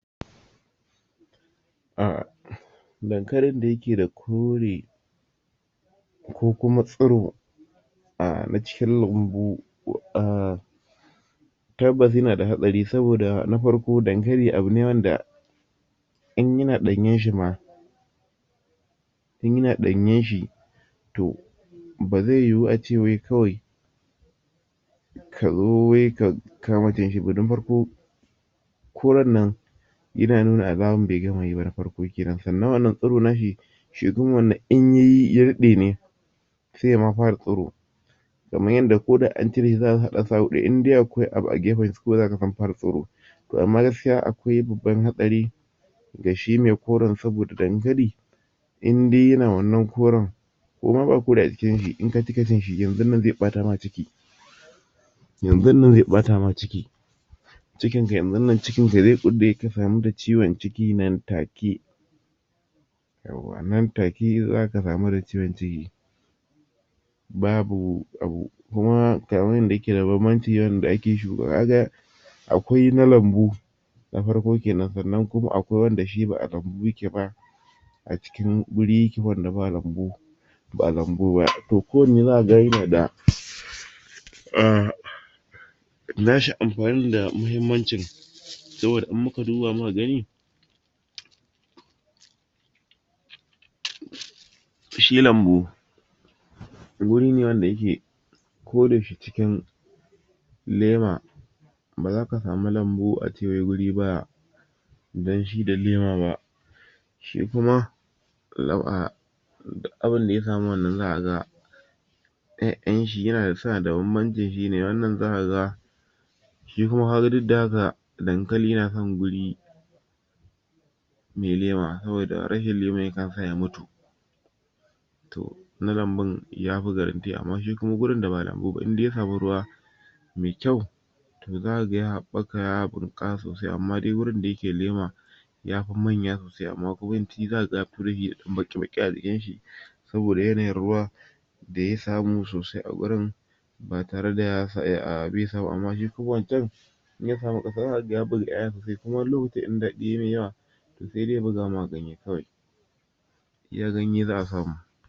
um dankalin da yake da kore kokuma tsuro um na cikin lambu um tabbas yana da hatsari saboda nafarko, dankali abune wanda in yana danyen shi, in yana ɗanyan shi to ba zai yu a ce kawai kazo wai ka kama cinshi ba na fara koren na yananuna alaman be gama yi ba, sannan wannan tsuro na shi shedun wannan in yayi ya rike ne sai ya fara tsuro ko da an cireshi in aka hada su a wuri daya in har akwai wani abu a gefansa to zai fara a kwai babban hatsari ga shi mai koran, saboda dankali indai yana wannan koren ko ba kore inka cika cin shi yanzu zai batama ciiki yanzu zai bata ma ciki cikinka ya kulle zai kulle ka kamu da ciwan ciki nan take nan take za ka kamu da ciwon ciki babu abu kuma ga wanda yake da babbanci wanda ake shuka shi akwai na lambu na farko kenan akwai wanda ba a lambu ya ke ba a ciki yake inda ba lambu ba a lambu ba, to ko wanne za ka ga yana da na shi amfani da mahimmancin sa sabida in muka duba kyau shi lambu guri ne wanda yake koda yaushe cikin lema ba za ka samu lambu a ce wuri ba danshi da lema ba shi shi kuma duk a bin da ya samu wannan 'ya’yan shi yana sa dawamamman tofi ne za ka ga kaga duk da haka dankali yana son wuri mai lema saboda rashin leman yana sanyawa ya mutu to na lambun yafi garanti amma shi kuma wurin da ba lambu ba indai ya samu ruwa mai kyau za kaga ya habaka ya bunkas sosai, amma wurin da yake da lema zaka yafi manya sosai, amma yawanci za kaga rabi ya yi baki-baki a jikinshi saboda yana yin ruwa da ya samu a wurin idan ruwa ya masa yawa yana masa illah wani lokaci dankalin da ba na lanbuba in ya samu wuri yana zuba 'ya-'ya wani lokaci idan dadi ya masa yawa sai dai ya baza ma ganye iya ganye za a samu